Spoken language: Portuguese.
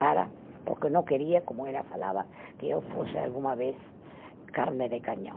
Para, porque não queria, como ela falava, que eu fosse alguma vez carne de canhão.